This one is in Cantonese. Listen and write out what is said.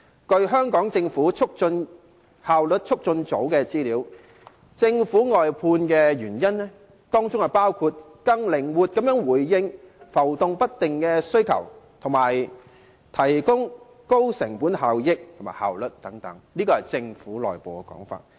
根據香港政府效率促進組的資料，政府把服務外判的原因包括更靈活地回應浮動不定的需求，以及提高成本效益和效率等，這是政府內部的說法。